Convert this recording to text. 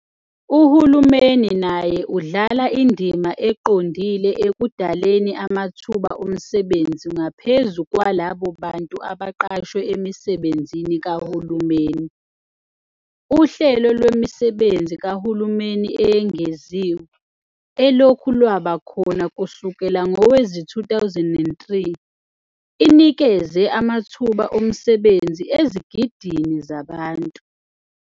Uhulumeni naye udlala indima eqondile ekudaleni amathuba omsebenzi ngaphezu kwalabo bantu abaqashwe emisebenzini kahulumeni. Uhlelo Lwemisebenzi Kahulumeni Eyengeziwe, elokhu lwaba khona kusukela ngowezi2003, inikeze amathuba omsebenzi ezigidini zabantu.